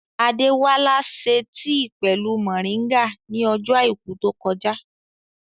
Adéwálá ṣe tì pẹ̀lú mọ̀ríngà ní ọjọ́ àìkú tó kọjá